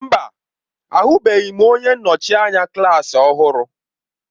Mba! Ahụbeghị m onye nnọchi anya klaasị ọhụrụ.